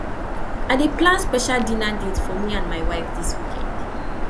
i dey plan special dinner date for me and my wife dis weekend